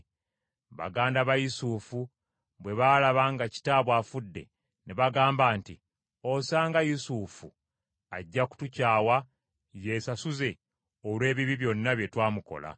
Baganda ba Yusufu bwe baalaba nga kitaabwe afudde, ne bagamba nti, “Osanga Yusufu ajja kutukyawa yeesasuze olw’ebibi byonna bye twamukola.”